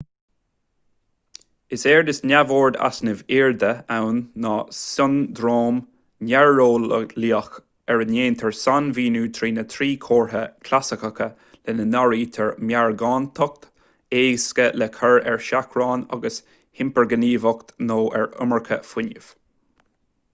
is éard is neamhord easnaimh airde ann ná siondróm néareolaíoch ar a ndéantar sainmhíniú trína thrí chomhartha chlasaiceacha lena n-áirítear meargántacht éasca le cur ar seachrán agus hipirghníomhaíocht nó an iomarca fuinnimh